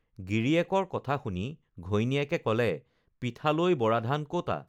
গিৰিয়েকৰ কথা শুনি ঘৈণীয়েকে কলে পিঠালৈ বৰাধান ক'তা